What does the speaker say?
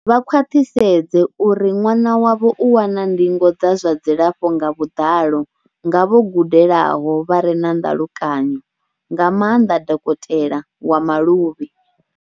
Vha khwaṱhisedze uri ṅwana wavho u wana ndingo dza zwa dzilafho nga vhuḓalo nga vho gudelaho vha re na ndalukanyo, nga maanḓa dokotela wa maluvhi.